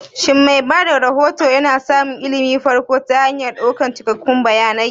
Shin mai ba da rahoto yana samun ilimin farko ta hanyar ɗaukan cikakkun bayanai?